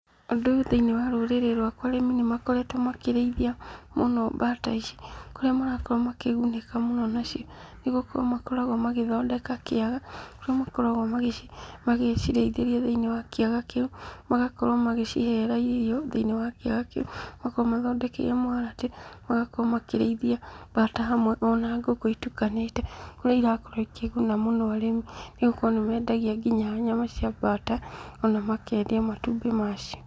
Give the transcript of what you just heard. Ũndũ ũyũ thĩinĩ wa rũrĩrĩ rwakwa arĩmi nĩ makoretwo makĩrĩithia mũno mbata ici, kũrĩa marakorwo makĩgunĩka mũno nacio, nĩgũkorwo nĩ makoragwo magĩthondeka kĩaga, kũrĩa makoragwo magĩcirĩithĩria thĩinĩ wa kĩaga kĩu, magakorwo magĩcihera irio thĩinĩ wa kĩaga kĩu, magakorwo mathondekeire mũharatĩ, magakorwo makĩrĩithia mbata hamwe ona ngũkũ itukanĩte, kũrĩa irakorwo ikĩguna mũno, arĩmi nĩ gũkorwo nĩmendagia nginya nyama cia mbata, ona makendia matumbĩ macio.